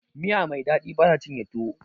Miya Mai daɗi bata cinye tuwo